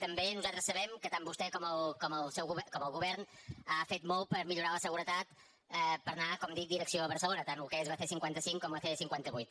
també nosaltres sabem que tant vostè com el govern han fet molt per millo·rar la seguretat per anar com dic direcció a barcelo·na tant el que és la c·cinquanta cinc com la c·cinquanta vuit